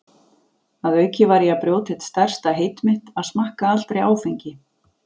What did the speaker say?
Að auki var ég að brjóta eitt stærsta heit mitt, að smakka aldrei áfengi.